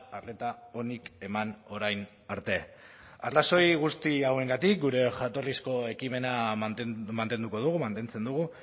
arreta onik eman orain arte arrazoi guzti hauengatik gure jatorrizko ekimena mantenduko dugu mantentzen dugu